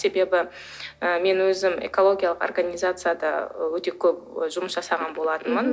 себебі ы мен өзім экологиялық организацияда өте көп жұмыс жасаған болатынмын мхм